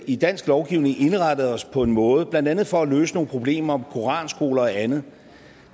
i dansk lovgivning indrettet os på en måde blandt andet for at løse nogle problemer med koranskoler og andet